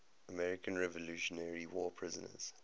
american revolutionary war prisoners